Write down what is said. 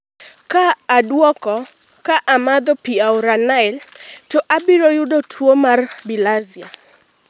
ka oduoko, " ka amadho pi aora Nile to abiro yudo tuwo mar bilharzia